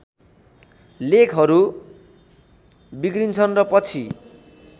लेखहरू बिग्रिन्छन् र पछि